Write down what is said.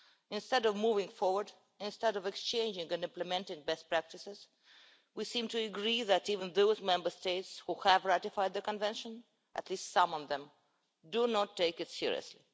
Instead of moving forward, instead of exchanging and implementing best practices, we seem to agree that even those Member States which have ratified the Convention, or at least some of them, do not take it seriously.